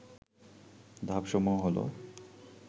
ধাপসমূহ হল